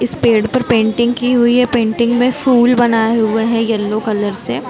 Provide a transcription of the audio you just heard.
इस पेड़ पर पेंटिंग की हुई है पेंटिंग में फूल बनाये हुए है येलो कलर से--